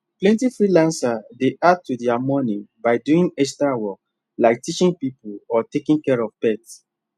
plenty freelancers dey add to their money by doing extra work like teaching people or taking care of pets